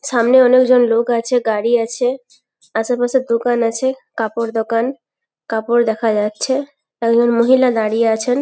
সামনে অনেকজন লোক আছে গাড়ি আছে আশেপাশের দোকান আছে কাপড় দোকান কাপড় দেখা যাচ্ছে। একজন মহিলা দাঁড়িয়ে আছেন।